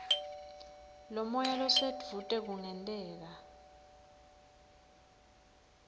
lomoya losedvute kungenteka